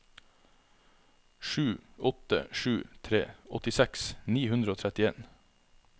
sju åtte sju tre åttiseks ni hundre og trettien